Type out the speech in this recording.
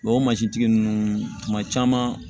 o mansintigi ninnu kuma caman